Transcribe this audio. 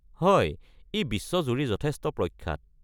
হয়, ই বিশ্বজুৰি যথেষ্ট প্ৰখ্যাত।